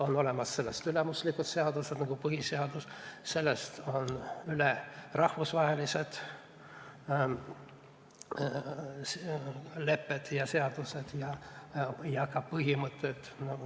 On olemas sellest ülemuslikud seadused nagu põhiseadus, sellest on üle rahvusvahelised lepped ja seadused ning ka põhimõtted.